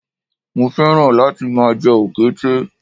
Mo fẹ́ràn láti máa jẹ òkété